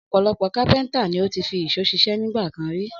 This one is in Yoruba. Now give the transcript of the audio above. Ọ̀pọ̀lọpọ̀ kápẹ́ńtà ni ó ti fi ìṣó ṣiṣẹ́ nígbà kan rí.